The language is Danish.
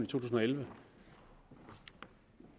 tusind og elleve